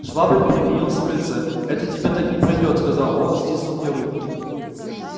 швабрин переменился в лице это тебе так не пройдёт сказал он стиснув мне руку